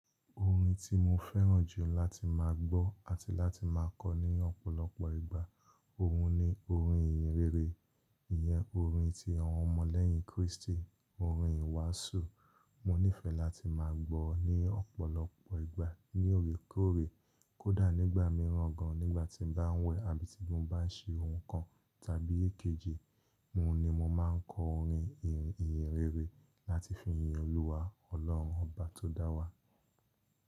Orin tí mo fẹ́ràn jù láti máa gbọ́ àti láti máa kọ ní ọ̀pọ̀lọpọ̀ ìgbà, òun ni orin ìyìnrere. Ìyẹn orin tí àwọn ọmọ lẹ́yìn Kristi, orin ìwásù. Mo nífẹ̀ láti máa gbọ́ ní ọ̀pọ̀lọpọ̀ ìgbà, ní òrèkorè, kódà nígbà mìíràn gan, nígbà tí mo bá ń wẹ̀ àbí tí mo bá ń ṣe ohun kan tàbí èkejì, òun ni mo máa ń kọ orin ìyìnrere láti fi yìn Olúwa Ọlọ́run Ọba tó dá wa.